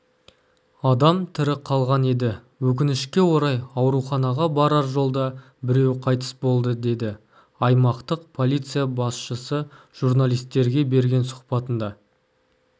адам тірі қалған еді өкінішке орай ауруханаға барар жолда біреуі қайтыс болды деді аймақтық полиция басшысы журналистерге берген сұхбатында